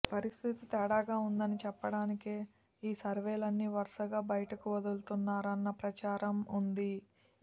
పరిస్థితి తేడాగా ఉండదని చెప్పడానికే ఈ సర్వేలన్నీ వరుసగా బయటకు వదులుతున్నారన్న ప్రచారం ఉంది